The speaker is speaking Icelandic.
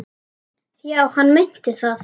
Já, hann meinti það.